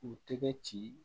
K'u tɛgɛ ci